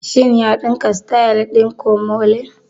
Shin ya ɗinka sityl ɗin komole?